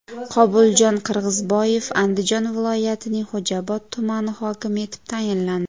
Qobuljon Qirg‘izboyev Andijon viloyatining Xo‘jaobod tumani hokimi etib tayinlandi.